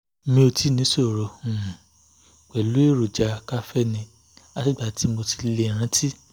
mo ti níṣòro um pẹ̀lú èròjà kaféènì látìgbà tí mo ti lè rántí